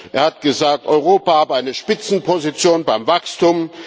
Er hat gesagt, Europa habe eine Spitzenposition beim Wachstum.